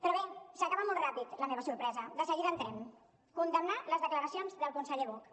però bé s’acaba molt ràpid la meva sorpresa de seguida hi entrem condemnar les declaracions del conseller buch